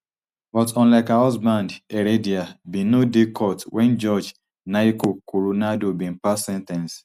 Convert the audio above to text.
but unlike her husband heredia bin no dey court wen judge nayko coronado bin pass sen ten ce